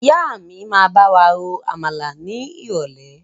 Ìyá mi máa bawa ro Àmàlà ni irọ̀lẹ́.